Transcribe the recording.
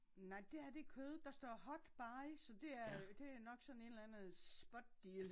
Nej det her det kød der står hot buy så det er øh det nok sådan et eller andet spot deal